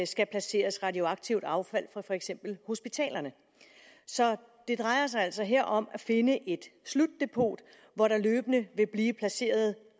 skal placeres radioaktivt affald fra for eksempel hospitalerne så det drejer sig altså her om at finde et slutdepot hvor der løbende vil blive placeret